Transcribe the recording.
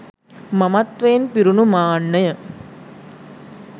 මමත්වයෙන් පිරුණු මාන්නය